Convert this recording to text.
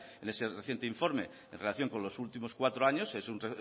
en ese reciente informe en relación con los últimos cuatro años es un